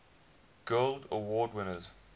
guild award winners